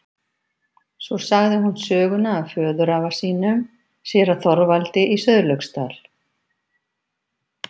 Svo sagði hún söguna af föðurafa sínum, séra Þorvaldi í Sauðlauksdal.